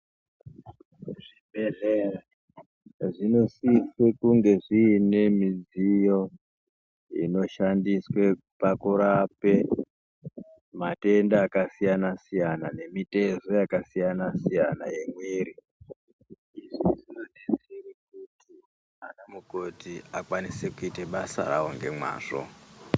Zvibhedhlera zvinosise kunge zviine zvidziyo zvinoshandiswa pakurape matenda akasiyana siyana kana nemitezo yakasiyana siyana yemwiri. Izvi zvinodetsera kuti anamukoti vakwanise kuite basa ravo ngemwazvo.